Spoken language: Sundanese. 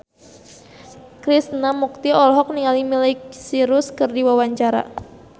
Krishna Mukti olohok ningali Miley Cyrus keur diwawancara